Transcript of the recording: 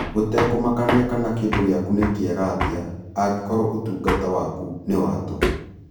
Gũtekũmakania kana kĩndũ gĩaku nĩ kĩega atĩa, angĩkorũo ũtungata waku nĩ wa tũhũ,